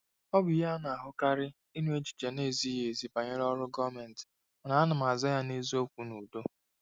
Ọ bụ ihe a na-ahụkarị ịnụ echiche na-ezighị ezi banyere ọrụ gọọmentị, mana m na-aza ya na eziokwu n'udo.